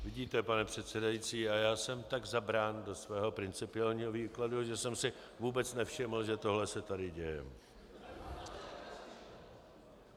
Vidíte, pane předsedající, a já jsem tak zabrán do svého principiálního výkladu, že jsem si vůbec nevšiml, že tohle se tady děje.